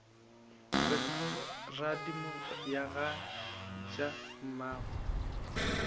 re radimo ga ja mmagwe